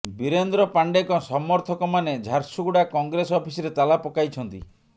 ବୀରେନ୍ଦ୍ର ପାଣ୍ଡେଙ୍କ ସମର୍ଥକମାନେ ଝାରସୁଗୁଡ଼ା କଂଗ୍ରେସ ଅଫିସରେ ତାଲା ପକାଇଛନ୍ତି